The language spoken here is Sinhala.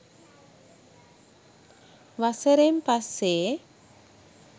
වසරෙන් පස්සේ